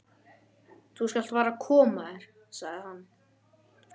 Þú skalt fara að koma þér, sagði hann.